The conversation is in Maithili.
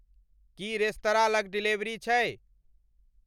की रेस्तराँ लग डिलीवरी छै